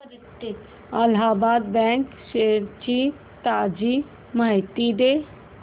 Allahabad bank shares ची ताजी माहिती दे